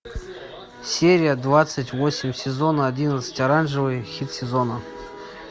серия двадцать восемь сезона одиннадцать оранжевый хит сезона